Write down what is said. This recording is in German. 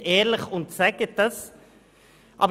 Seien Sie ehrlich und sagen Sie es!